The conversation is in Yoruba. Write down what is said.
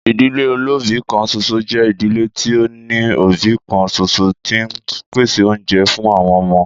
Ìdílé olóbìí kan ṣoṣo jẹ́ ìdílé tí ó ní òbí kan ṣoṣo tí ń pèsè oúnjẹ fún àwọn ọmọ.